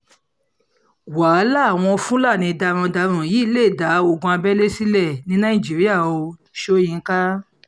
wàhálà àwọn fúlàní darandaran yìí lè dá ogun abẹ́lé sílẹ̀ ní nàìjíríà o-soyinka